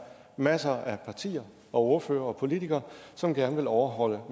masser af partier og ordførere og politikere som gerne vil overholde